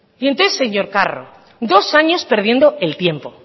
y entonces señor carro dos años perdiendo el tiempo